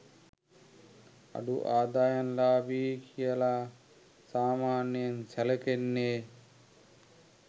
අඩු ආදායම්ලාභී කියලා සාමාන්‍යයෙන් සැලකෙන්නේ